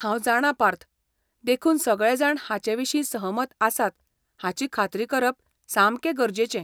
हांव जाणां पार्थ, देखून सगळेजाण हाचेविशीं सहमत आसात हाची खात्री करप सामकें गरजेचें.